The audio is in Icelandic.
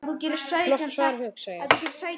Flott svar, hugsa ég.